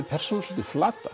persónuna svolítið flata